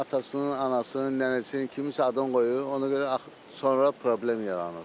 Atasının, anasının, nənəsinin kiminsə adını qoyur, ona görə axı sonra problem yaranır.